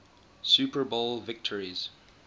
super bowl victories